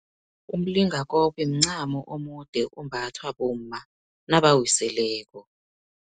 Umlingakobe, mncamo omude, ombathwa bomma nabawiseleko.